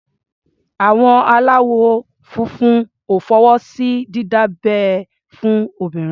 Àwọn aláwọ̀ funfun ò fọwọ́ sí dídá abẹ́ fún obìnrin.